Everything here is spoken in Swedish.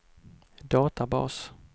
databas